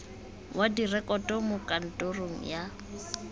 wa direkoto mo kantorong ya